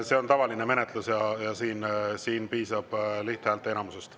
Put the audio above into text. See on tavaline menetlus ja siin piisab lihthäälteenamusest.